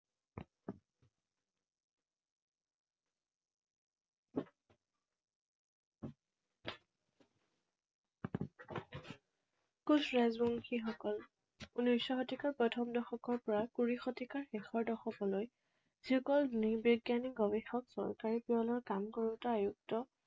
কোচ ৰাজবংশীসকল। ঊনৈশ শতিকাৰ প্ৰথম দশকৰ পৰা কুৰি শতিকাৰ শেষৰ দশকলৈ যিসকল নৃবিজ্ঞানী, গৱেষক, চৰকাৰী peon ৰ কাম কৰোতা, আয়ুক্ত